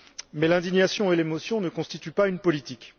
Mais l'indignation et l'émotion ne constituent pas une politique.